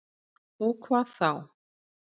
Og hvað þá?